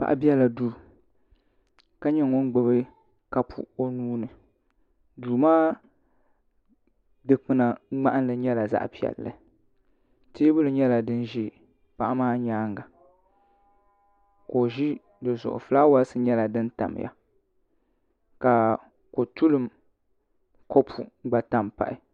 Paɣa biɛla duu ka nyɛ ŋun gbubi kapu o nuuni duu maa dikpuna ŋmahanli nyɛla zaɣ piɛlli teebuli nyɛla din ʒɛ paɣa maa nyaanga ka o ʒi di zuɣu fulaawaasi nyɛla din tamya ka kotulim kopu gba tam pahi